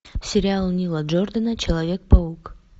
сериал нила джордана человек паук